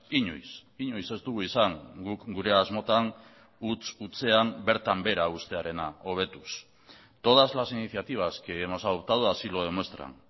inoiz inoiz ez dugu izan guk gure asmotan huts hutsean bertan behera uztearena hobetuz todas las iniciativas que hemos adoptado así lo demuestran